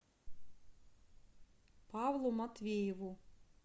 павлу матвееву